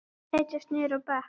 Aðrir setjast niður á bekk.